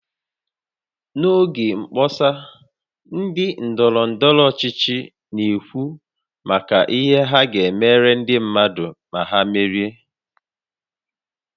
N'oge mkpọsa ndị ndọrọ ndọrọ ọchịchị na-ekwu maka ihe ha ga-emere ndị mmadụ ma ha merie